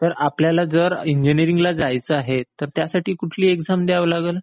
तर आपल्याला जर इंजिनियरिंगला जायचं आहे तर त्यासाठी कुठली एक्साम द्यावी लागेल?